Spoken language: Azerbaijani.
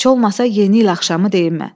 Heç olmasa Yeni il axşamı deyim mə.